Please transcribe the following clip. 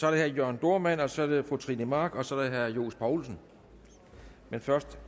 er herre jørn dohrmann så er det fru trine mach og så er det herre johs poulsen men først